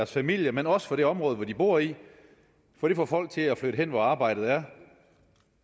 familie men også for det område man bor i for det får folk til at flytte hen hvor arbejdet er